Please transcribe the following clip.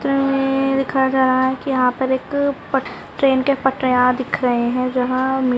दिखाया जा रहा है की यहाँ पर ट्रैन की पटरिया दिख रहे है जहा--